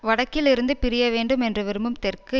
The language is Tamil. வடக்கில் இருந்து பிரிய வேண்டும் என்று விரும்பும் தெற்கு